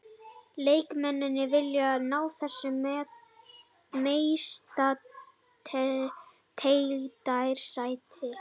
Leikmennirnir vilja ná þessu meistaradeildarsæti.